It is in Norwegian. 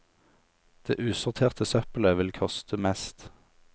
Det usorterte søppelet vil koste mest.